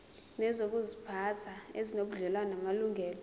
nezokuziphatha ezinobudlelwano namalungelo